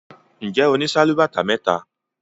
Njé ọ ní Sálúbàtà méta?